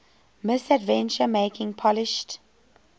misadventure making polished